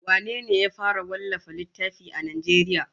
Wane ne ya fara wallafa littafi a Najeriya?